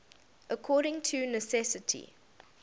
according to necessity